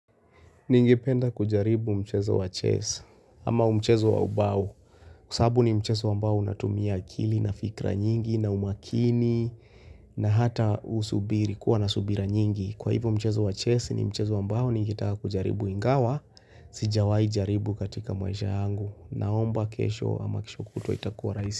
Ningependa kujaribu mchezo wa chess, ama mchezo wa ubao, sababu ni mchezo ambao unatumia akili na fikra nyingi na umakini na hata usubiri kuwa na subira nyingi. Kwa hivo mchezo wa chess ni mchezo ambao ningetaka kujaribu ingawa, sijawai jaribu katika maisha yangu, naomba kesho ama kesho kutwa itakuwa rahisi.